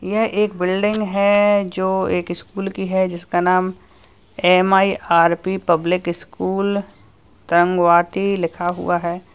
यह एक बिल्डिंग है जो एक स्कूल की है जिसका नाम एम_आई_आर_पी पब्लिक स्कूल रंग वाटी लिखा हुआ है।